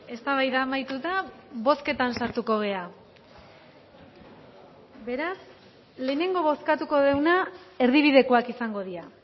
eztabaida amaituta bozketan sartuko gara beraz lehenengo bozkatuko duguna erdibidekoak izango dira